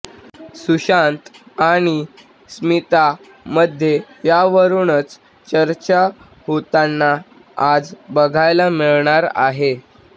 सुशांत आणि स्मिता मध्ये यावरूनच चर्चा होताना आज बघायला मिळणार आहे